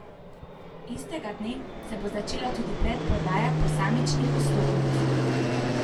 Istega dne se bo začela tudi predprodaja posamičnih vstopnic.